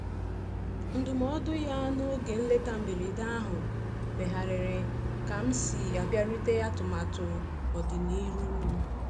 Ndụmọdụ ya n'oge nleta mberede ahụ megharịrị ka m si abịarute atụmatụ ọdi n'iru m.